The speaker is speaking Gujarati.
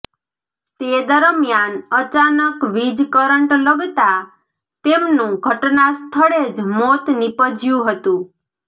તે દરમ્યાન અચાનક વીજ કરંટ લગતા તેમનું ઘટના સ્થળે જ મોત નીપજયું હતું